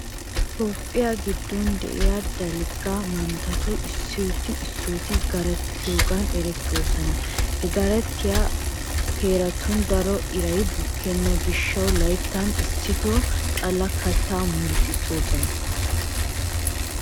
Toophphiya giddon de'iya dalgga manttatuppe issooti issooti garatiyogan erettoosona. Ha garatiya heeratun daro iray Buckenham gishshawu layttan issitoo xallaa kattaa murutissoosona.